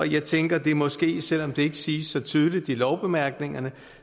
jeg tænker at det måske selv om det ikke siges så tydeligt i lovbemærkningerne